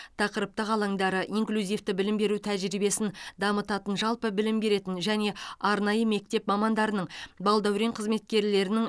тақырыптық алаңдары инклюзивті білім беру тәжірибесін дамытатын жалпы білім беретін және арнайы мектеп мамандарының балдәурен қызметкерлерінің